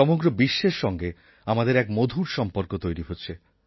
সমগ্র বিশ্বের সঙ্গে আমাদের এক মধুর সম্পর্ক তৈরি হচ্ছে